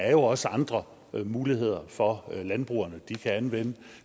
er jo også andre muligheder for landbruget de kan anvende